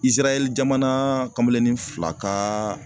Izirayɛli jamana kameleni fila ka